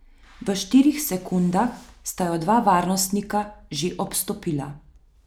V štirih sekundah sta jo dva varnostnika že obstopila.